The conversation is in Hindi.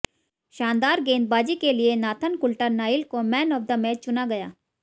शानदार गेंदबाजी के लिए नाथन कुल्टर नाइल को मैन ऑफ द मैच चुना गया